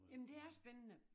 Jamen det er spændende